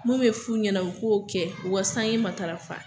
Mun bɛ f'u ɲɛna u k'o kɛ u ka sange matafa.